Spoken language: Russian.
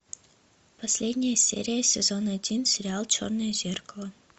последняя серия сезон один сериал черное зеркало